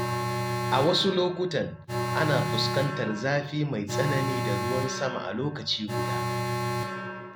A wasu lokutan, ana fuskantar zafi mai tsanani da ruwan sama a lokaci guda.